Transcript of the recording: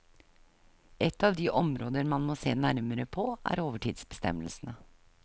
Ett av de områder man må se nærmere på, er overtidsbestemmelsene.